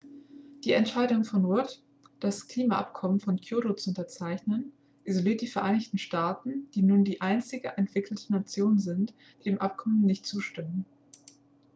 die entscheidung von rudd das klimaabkommen von kyoto zu unterzeichnen isoliert die vereinigten staaten die nun die einzige entwickelte nation sind die dem abkommen nicht zustimmen